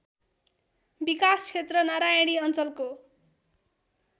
विकासक्षेत्र नारायणी अञ्चलको